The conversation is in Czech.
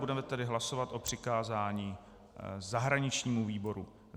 Budeme tedy hlasovat o přikázání zahraničnímu výboru.